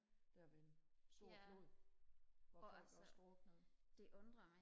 der ved en stor flod hvor folk også druknede